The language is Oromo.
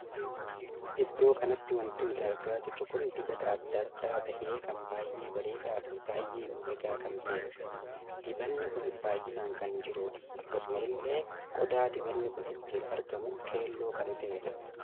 Iddoo kanatti wanti nuti argaa jiru kun dibata addaa addaa tahee kan baay'ee bareedaa Fi kan baay'ee miidhagaa kan taheedha. dibabni kun baay'inaan kan jirudha. akkasuma illee qodaa dibanni kun ittiin argamu keelloo kan tahedha.